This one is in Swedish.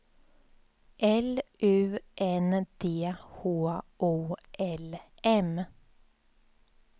L U N D H O L M